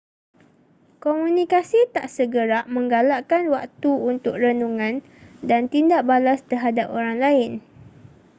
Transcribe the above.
komunikasi tak segerak menggalakkan waktu untuk renungan dan tindak balas terhadap orang lain